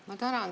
Ma tänan.